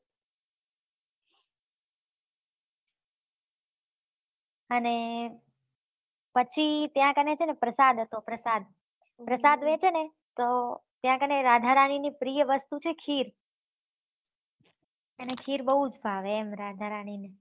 અને પછી ત્યાં કને છેને પ્રસાદ હતો પ્રસાદ પ્રસાદ વેચે છે ને તો ત્યાં કાણે રાધા રાની ની પ્રિય વસ્તુ છે ખીર એને ખીર બહુજ ભાવે એમ રાધા રાની ને